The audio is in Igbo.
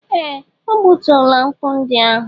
Ee! O gbutuola nkwụ ndị ahụ.